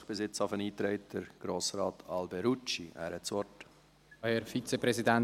Bisher hat sich Grossrat Alberucci eingetragen.